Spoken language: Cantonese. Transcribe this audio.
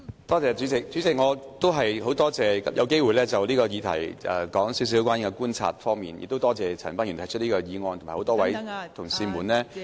代理主席，我很感謝可以就此議題談談我觀察所得，亦感謝陳恒鑌議員提出議案，以及多位同事們......